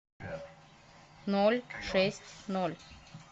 ноль шесть ноль